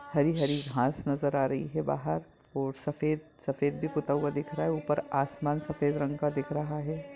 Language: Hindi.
हरी-हरी घास नजर आ रही है बाहर और सफ़ेद सफ़ेद भी पोता हुआ दिख रहा है ऊपर आसमान सफ़ेद रंग का दिख रहा है।